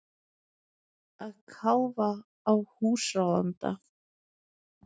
Að káfa á húsráðanda.